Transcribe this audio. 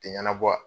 Tɛ ɲɛnabɔ wa